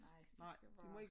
Nej de skal være